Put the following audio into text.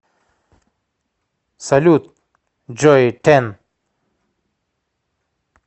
салют джой тэн